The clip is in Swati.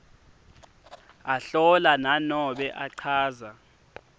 ahlola nanobe achaza